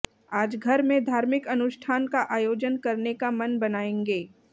आज घर में धार्मिक अनुष्ठान का आयोजन करने का मन बनायेंगे